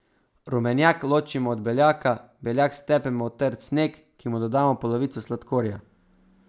Rumenjak ločimo od beljaka, beljak stepemo v trd sneg, ki mu dodamo polovico sladkorja.